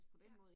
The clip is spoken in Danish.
Ja